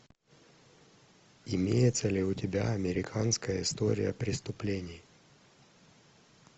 имеется ли у тебя американская история преступлений